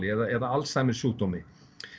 eða Alzheimer sjúkdómi